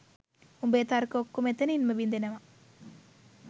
උඹෙ තර්ක ඔක්කොම එතනින්ම බිදෙනවා